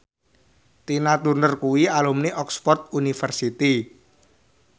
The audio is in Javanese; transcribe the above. Tina Turner kuwi alumni Oxford university